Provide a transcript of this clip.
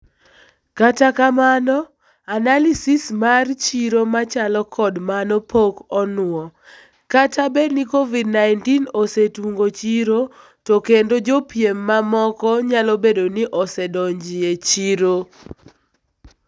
Kata kamano analysis mar chiro machalo kod mano pok onwoo, kata bedni Covid-19 osetungo chiro to kendo jopiem mamoko nyalobedoni osedonjie echiro.